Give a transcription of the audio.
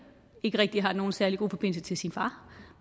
ikke har nogen særlig god forbindelse til sin far